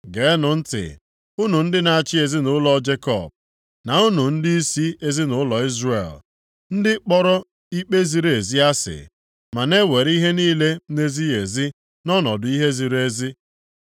Geenụ ntị unu ndị na-achị ezinaụlọ Jekọb, na unu ndịisi ezinaụlọ Izrel. Ndị kpọrọ ikpe ziri ezi asị, ma na-ewere ihe niile na-ezighị ezi nʼọnọdụ ihe ziri ezi.